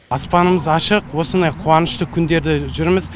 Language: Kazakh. аспанымыз ашық осындай қуанышты күндерде жүрміз